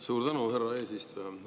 Suur tänu, härra eesistuja!